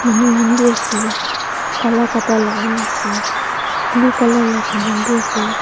manukhan bi ase kala kapra lagai kena ase blue colour saman bi ase.